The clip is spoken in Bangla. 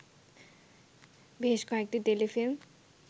বেশ কয়েকটি টেলিফিল্ম